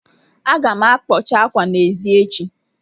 Aga m akpọcha ákwâ a n'èzí echi